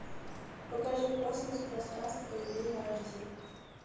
покажи космос пространство и время эйч ди